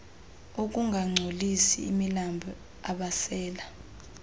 ukungangcolisi imilambo abasela